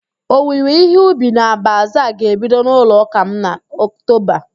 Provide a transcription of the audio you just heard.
Owiwe ihe ubi na bazaa ga-ebido n'ụlọụ́kà m na Oktoba